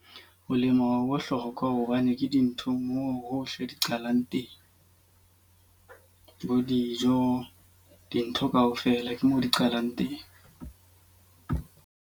Ho lema ho bohlokwa hobane ke dinthong moo hohle di qalang teng. Bo dijo, dintho ka ofela ke moo di qalang teng.